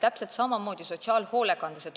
Täpselt samamoodi on sotsiaalhoolekandes.